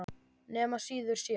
Nema síður sé.